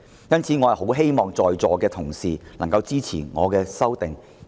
因此，我很希望在席的同事能夠支持我的修訂議案。